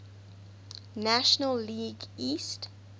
national league east